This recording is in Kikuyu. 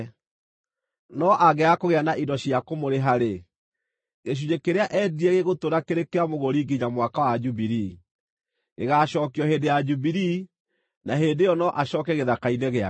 No angĩaga kũgĩa na indo cia kũmũrĩha-rĩ, gĩcunjĩ kĩrĩa eendirie gĩgũtũũra kĩrĩ kĩa mũgũri nginya Mwaka wa Jubilii. Gĩgaacookio hĩndĩ ya Jubilii, na hĩndĩ ĩyo no acooke gĩthaka-inĩ gĩake.